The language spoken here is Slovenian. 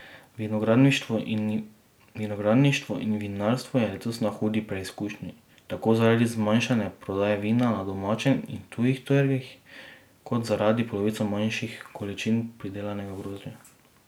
Vinogradništvo in vinarstvo je letos na hudi preizkušnji, tako zaradi zmanjšane prodaje vina na domačem in tujih trgih kot zaradi polovico manjših količin pridelanega grozdja.